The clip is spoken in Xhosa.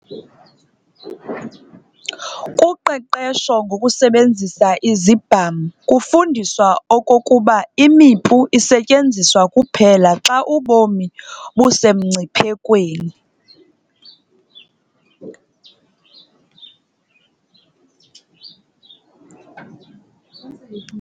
Kuqeqesho ngokusebenzisa Izibham kufundiswa okokuba imipu isetyenziswa kuphela xa ubomi busemngciphekweni.